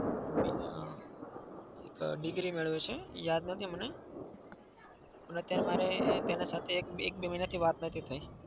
અમ degree મેળવે છે. યાદ નથી મને. અને અત્યારે મારે તેના સાથે એક-બે મહિનાથી વાત નથી થઇ.